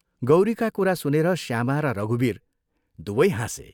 गौरीका कुरा सुनेर श्यामा र रघुवीर दुवै हाँसे।